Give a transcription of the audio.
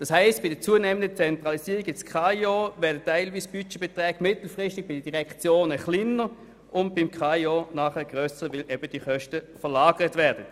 Das heisst, mit der zunehmenden Zentralisierung im KAIO werden teilweise Budgetbeträge mittelfristig in den Direktionen kleiner und beim KAIO entsprechend grösser, weil diese Kosten eben verlagert werden.